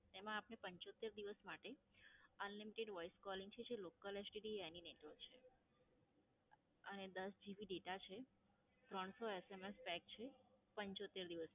એમાં આપને પંચોતેર દિવસ માટે Unlimited Voice Calling છે, જે Local STD any Network છે અને દસ GB data છે, ત્રણસો SMS Pack છે, પંચોતેર દિવસ